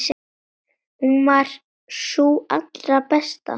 Hún var sú allra besta.